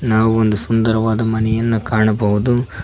ನಾವು ಒಂದು ಸುಂದರವಾದ ಮನೆಯನ್ನ ಕಾಣಬಹುದು.